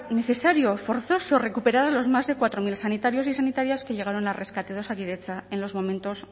necesario forzoso recuperar los más de cuatro mil sanitarios y sanitarias que llegaron al rescate de osakidetza en los momentos